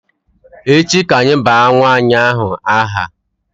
Echi ka anyị baa nwa ànyị aha